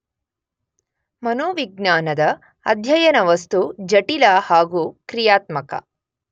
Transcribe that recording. ಮನೋವಿಜ್ಞಾನದ ಅಧ್ಯಯನವಸ್ತು ಜಟಿಲ ಹಾಗೂ ಕ್ರಿಯಾತ್ಮಕ